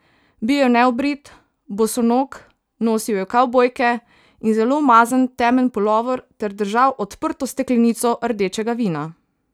Bil je neobrit, bosonog, nosil je kavbojke in zelo umazan temen pulover ter držal odprto steklenico rdečega vina.